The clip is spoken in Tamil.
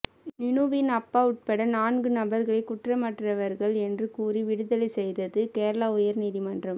நீனுவின் அப்பா உட்பட நான்கு நபர்களை குற்றமற்றவர்கள் என்று கூறி விடுதலை செய்தது கேரள உயர் நீதிமன்றம்